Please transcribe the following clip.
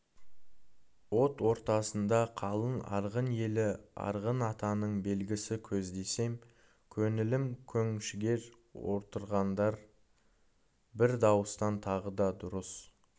от ортасында қалың арғын елі арғынатаның белгісі көздесем көңілім көншігер отырғандар бір дауыстан тағы да дұрыс